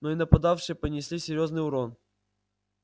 но и нападавшие понесли серьёзный урон